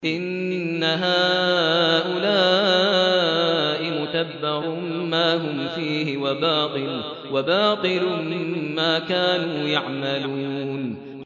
إِنَّ هَٰؤُلَاءِ مُتَبَّرٌ مَّا هُمْ فِيهِ وَبَاطِلٌ مَّا كَانُوا يَعْمَلُونَ